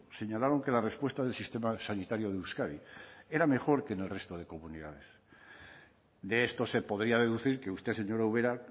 señalaron que la respuesta del sistema sanitario de euskadi era mejor que en el resto de comunidades de esto se podría deducir que usted señora ubera